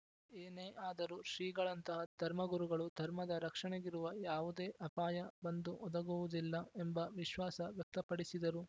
ಏನೇ ಆದರೂ ಶ್ರೀಗಳಂತಹ ಧರ್ಮಗುರುಗಳು ಧರ್ಮದ ರಕ್ಷಣೆಗಿರುವ ಯಾವುದೇ ಅಪಾಯ ಬಂದು ಒದಗುವುದಿಲ್ಲ ಎಂಬ ವಿಶ್ವಾಸ ವ್ಯಕ್ತಪಡಿಸಿದರು